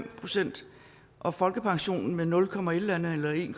procent og folkepensionen med nul komma et eller andet eller en